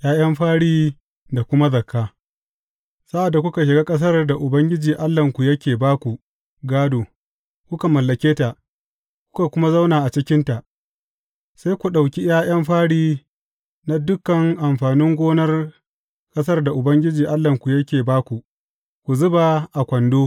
’Ya’yan fari da kuma zakka Sa’ad da kuka shiga ƙasar da Ubangiji Allahnku yake ba ku gādo, kuka mallake ta, kuka kuma zauna a cikinta, sai ku ɗauki ’ya’yan fari na dukan amfanin gonar ƙasar da Ubangiji Allahnku yake ba ku, ku zuba a kwando.